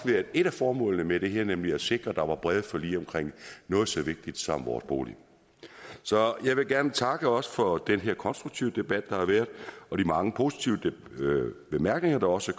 været et af formålene med det her nemlig at sikre at der var brede forlig omkring noget så vigtigt som vores bolig så jeg vil gerne takke også for den konstruktive debat der har været og de mange positive bemærkninger der også